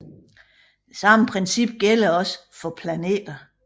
Det samme princip gælder også for planterne